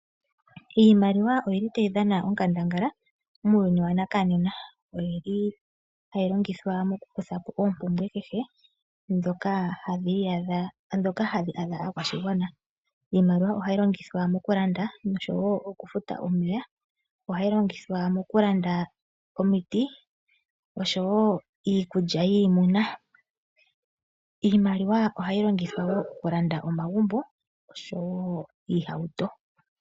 Iimaliwa oyili tayi dhana onkandangala muuyuni wanakanena. Oyili hayi longithwa mokukuthapo oompumbwe kehe dhoka hadhi adha aakwashigwana. Iimaliwa ohayi longithwa mokulanda nosho wo mokufuta omeya. Ohayi longithwa mokulanda omiti osho wo iikulya yiimuna. Iimaliwa ohayi longithwa okulanda omagumbo osho wo iihauto.